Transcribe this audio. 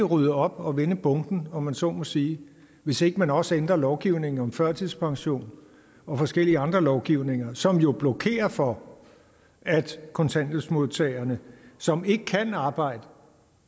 rydde op og vende bunken om man så må sige hvis ikke man også ændrer lovgivningen om førtidspension og forskellige andre lovgivninger som jo blokerer for at kontanthjælpsmodtagere som ikke kan arbejde